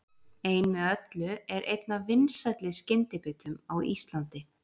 Ein með öllu er einn af vinsælli skyndibitum á Íslandi.